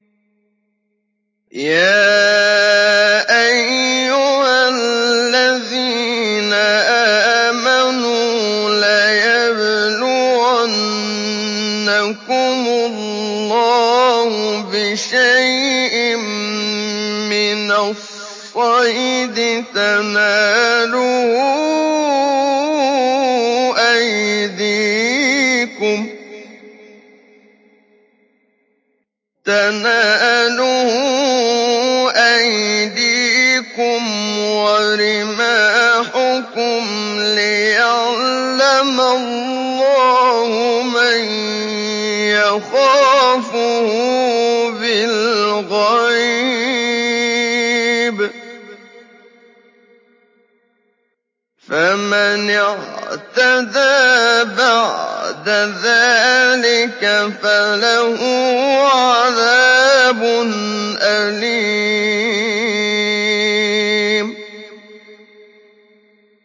يَا أَيُّهَا الَّذِينَ آمَنُوا لَيَبْلُوَنَّكُمُ اللَّهُ بِشَيْءٍ مِّنَ الصَّيْدِ تَنَالُهُ أَيْدِيكُمْ وَرِمَاحُكُمْ لِيَعْلَمَ اللَّهُ مَن يَخَافُهُ بِالْغَيْبِ ۚ فَمَنِ اعْتَدَىٰ بَعْدَ ذَٰلِكَ فَلَهُ عَذَابٌ أَلِيمٌ